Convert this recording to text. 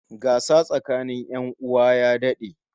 Gasa tsakanin 'yan uwa ya dad'e